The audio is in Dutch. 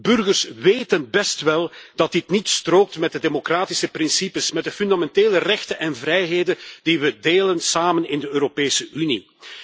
Burgers weten best wel dat dit niet strookt met de democratische principes, met de fundamentele rechten en vrijheden die we delen samen in de Europese Unie.